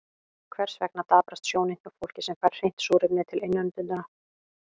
Hvers vegna daprast sjónin hjá fólki sem fær hreint súrefni til innöndunar?